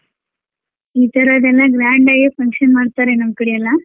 ಈ ತರದೆಲ್ಲ grand ಆಗೆ function ಮಾಡ್ತಾರೆ ನಮ್ ಕಡೆಯೆಲ್ಲ.